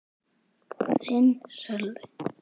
Þinn, Sölvi.